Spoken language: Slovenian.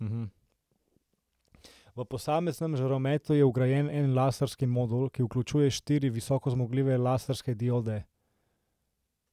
V posameznem žarometu je vgrajen en laserski modul, ki vključuje štiri visokozmogljive laserske diode.